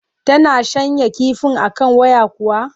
Tana shanya kifin a kan waya kuwa?